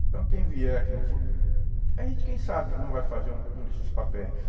Então, quem vier, quem não for, a gente, quem sabe, não vai fazer um um desses papéis.